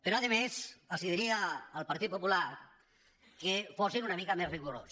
però a més els diria al partit popular que fossin una mica més rigorosos